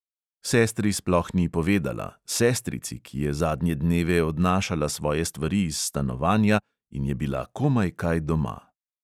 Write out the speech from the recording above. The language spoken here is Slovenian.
Sestri sploh ni povedala, sestrici, ki je zadnje dneve odnašala svoje stvari iz stanovanja in je bila komaj kaj doma.